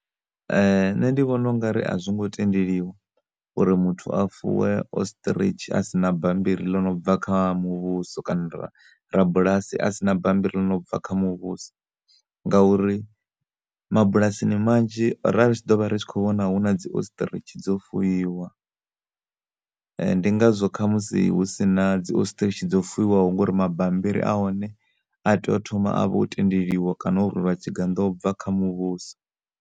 Nṋe ndi vhona u ngari a zwi ngo tendeliwa uri muthu a fuwe Ostrich asina bammbiri ḽi nobva kha muvhuso kana rabulasi asina bammbiri ḽi nobva kha muvhuso nga uri mabulasini manzhi ra ri tshi ḓo vho ri tshi kho vhona huna dzo Ostrich dzo fuwiwa. Ndi ngazwo khamusi husina dzi Ostrich dzo fuwiwaho ngori mabammbiri ahone a tea u thoma u vha o tendeliwa kana u rwelwa tshigannḓo ubva kha muvhuso.